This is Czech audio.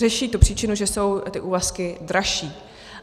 Řeší tu příčinu, že jsou ty úvazky dražší.